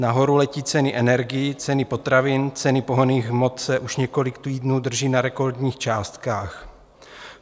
Nahoru letí ceny energií, ceny potravin, ceny pohonných hmot se už několik týdnů drží na rekordních částkách.